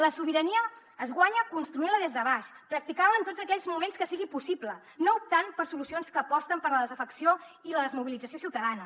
la sobirania es guanya construint la des de baix practicant la en tots aquells moments que sigui possible no optant per solucions que aposten per la desafecció i la desmobilització ciutadana